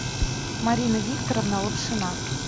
марина викторовна лапшина